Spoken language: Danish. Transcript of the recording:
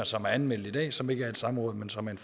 som er anmeldt i dag som ikke er et samråd men som er